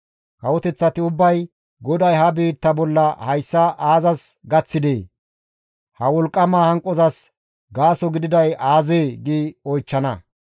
Kawoteththati ubbay, «GODAY ha biitta bolla hayssa aazas gaththidee? Ha wolqqama hanqozas gaaso gididay aazee?» gi oychchana.